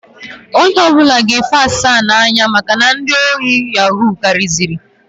Onye ọbụna ga efi aka asaa na-anya maka na ndị ori yahuu kariziri.